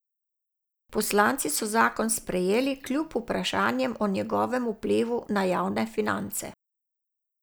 Poslanci so zakon sprejeli kljub vprašanjem o njegovem vplivu na javnem finance.